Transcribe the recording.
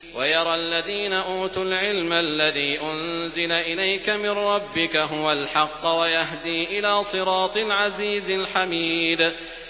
وَيَرَى الَّذِينَ أُوتُوا الْعِلْمَ الَّذِي أُنزِلَ إِلَيْكَ مِن رَّبِّكَ هُوَ الْحَقَّ وَيَهْدِي إِلَىٰ صِرَاطِ الْعَزِيزِ الْحَمِيدِ